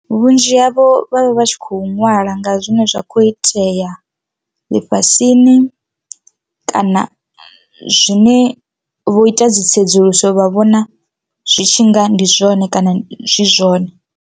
Vhunzhi havho vha vha vha tshi kho ṅwala nga zwine zwa khou itea ḽifhasini kana zwine vho ita dzi tsedzuluso vha vhona zwi tshi nga ndi zwone kana zwi zwone.